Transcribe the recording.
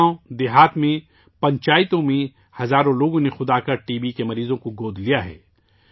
گاوںدیہات میں پنچایتوں میں ہزاروں لوگوں نے خود آگے آکر ٹی بی مریضوں کو گود لیا ہے